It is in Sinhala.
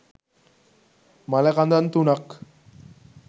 මළ කඳන් තුනක්